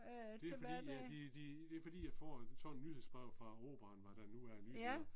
Det er fordi at de de det fordi jeg får sådan et nyhedsbrev fra operaen når der nu er nyheder